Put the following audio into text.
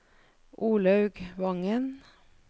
Olaug Vangen